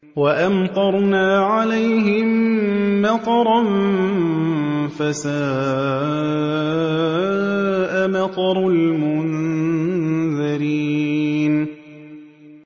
وَأَمْطَرْنَا عَلَيْهِم مَّطَرًا ۖ فَسَاءَ مَطَرُ الْمُنذَرِينَ